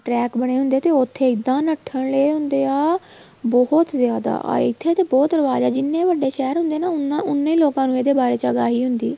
track ਬਣੇ ਹੁੰਦੇ ਏ ਤੇ ਉੱਥੇ ਇੱਦਾਂ ਨੱਠਲ ਰਹੇ ਹੁੰਦੇ ਆ ਬਹੁਤ ਜਿਆਦਾ ਆ ਇੱਥੇ ਤਾਂ ਬਹੁਤ ਰਿਵਾਜ ਆ ਜਿਹਨੇ ਵੱਡੇ ਸ਼ਹਿਰ ਹੁੰਦੇ ਆ ਉਹਨਾ ਉਹਨੇ ਲੋਕਾਂ ਨੂੰ ਇਹਦੇ ਬਾਰੇ ਜਾਣਕਾਰੀ ਹੁੰਦੀ